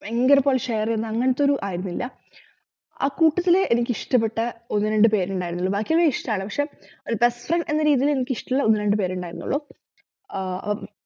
ഭയങ്കരഇപ്പോ share ചെയ്യുന്ന അങ്ങനത്തൊരു ആയിരുന്നില്ല അക്കൂട്ടത്തില് എനിക്കിഷ്ടപ്പെട്ട ഒന്നുരണ്ടുപേരുണ്ടായിരുന്നുള്ളു ബാക്കിയെല്ലാ ഇഷ്ടാണ് പക്ഷെ ഒരു best friends എന്ന രീതിയിൽ എനിക്കിഷ്ടമുള്ള ഒന്നുരണ്ടുപേരുണ്ടായിരുന്നുള്ളു ആഹ്